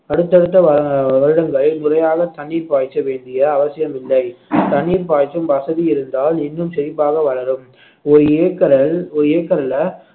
அடுத்தடுத்த வ~ வருடங்கள் முறையாக தண்ணீர் பாய்ச்ச வேண்டிய அவசியம் இல்லை தண்ணீர் பாய்ச்சும் வசதி இருந்தால் இன்னும் செழிப்பாக வளரும் ஒரு ஏக்கரல் ஒரு ஏக்கர்ல